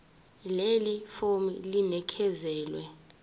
leli fomu linikezelwe